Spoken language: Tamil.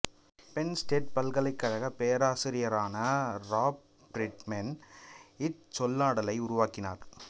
பென்ன் ஸ்டேட் பல்கலைக்கழகப் பேராசிரியரான ராப் ஃப்ரீட்மேன் இச்சொல்லாடலை உருவாக்கினார்